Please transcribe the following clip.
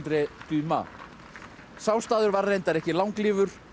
Dumas sá staður var reyndar ekki langlífur